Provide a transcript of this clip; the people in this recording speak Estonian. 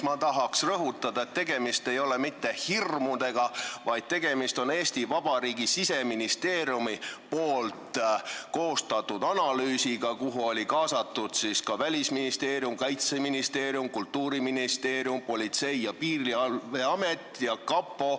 Ma tahan rõhutada, et tegemist ei ole mitte hirmudega, vaid tegemist on Eesti Vabariigi Siseministeeriumi koostatud analüüsiga, kuhu olid kaasatud ka Välisministeerium, Kaitseministeerium, Kultuuriministeerium, Politsei- ja Piirivalveamet ning kapo.